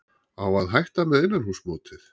Á að hætta með innanhússmótið?